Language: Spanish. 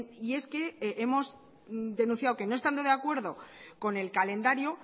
y es que hemos denunciado que no estando de acuerdo con el calendario